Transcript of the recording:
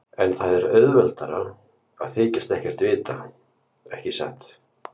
En það er auðveldara að þykjast ekkert vita, ekki satt.